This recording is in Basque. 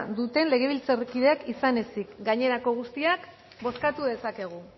duten legebiltzarkideak izan ezik gainerako guztiak bozkatu dezakegu